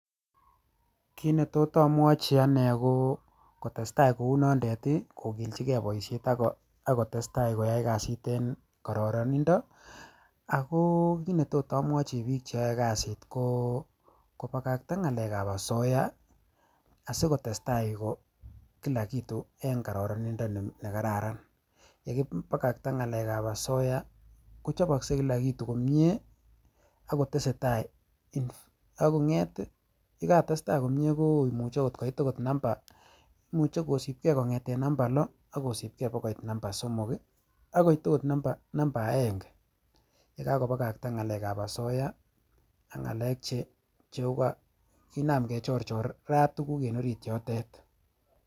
Kinetot amwachi kokilchike boisiet ako tesetai koyai kasit en kororonindo ako kinetot amwachi biik cheyoe kasiit ko kobakakta ng'alekab asoya asikotestai Kila kitu en kororonindo ne kararan, yekibakakta ng'alekab asoya ko kochoboksei Kila kitu komie akotesetai akong'et ih yekatestai komie komuche koit akot namba loo akosibke baka namba somok akoit ako namba aenge yekakobakakta ng'alekab asoya ak ng'alek che kinaam kechorchorat tuguk en orit yoto .